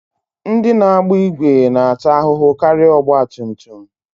Ndị na-agba ìgwè na-ata ahụhụ karịa ọgbatumtum